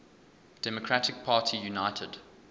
democratic party united